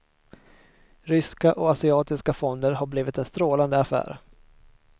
Ryska och asiatiska fonder har blivit en strålande affär.